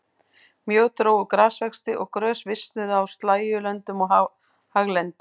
Mjög dró úr grasvexti og grös visnuðu á slægjulöndum og haglendi.